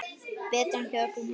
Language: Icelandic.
Betra en hjá öllum hinum.